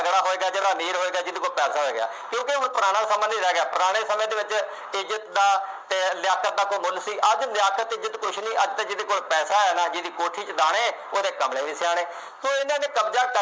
ਤਕੜਾ ਹੋਏਗਾ, ਅਮੀਰ ਹੋਏਗਾ, ਜਿਹਦੇ ਕੋਲ ਪੈਸਾ ਹੇੋਏਗਾ, ਕਿਉਂਕਿ ਹੁਣ ਪੁਰਾਣਾ ਸਮਾਂ ਨਹੀਂ ਰਹਿ ਗਿਆ। ਪੁਰਾਣੇ ਸਮੇਂ ਦੇ ਵਿੱਚ ਇੱਜ਼ਤਾ ਦਾ ਅਤੇ ਲਿਆਕਤ ਦਾ ਕੋਈ ਮੁੱਲ ਸੀ ਅੱਜ ਲਿਆਕਤ, ਇੱਜ਼ਤ ਕੁੱਛ ਨਹੀਂ, ਅੱਜ ਤਾਂ ਜਿਹਦੇ ਕੋਲ ਪੈਸਾ ਹੈ ਨਾ, ਜਿਹਦੀ ਕੋਠੀ ਚ ਦਾਣੇ, ਉਹਦੇ ਕਮਲੇ ਵੀ ਸਿਆਣੇ, ਉਹ ਇਹਨਾ ਨੇ ਕਬਜ਼ਾ ਕਰ